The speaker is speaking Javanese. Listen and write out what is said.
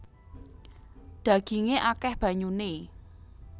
Dhagingé akèh banyuné